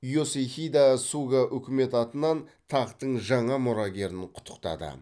есихидэ суга үкімет атынан тақтың жаңа мұрагерін құттықтады